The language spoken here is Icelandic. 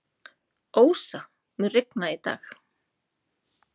Ósa, mun rigna í dag?